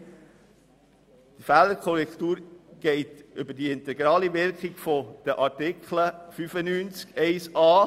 Die Fehlerkorrektur funktioniert über die integrale Wirkung von Artikel 95 Absatz 1.